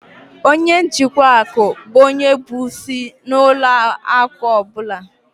Ọnye njikwa akụ bụ ónyé bụ ịsị na ụlọ akụ ọbula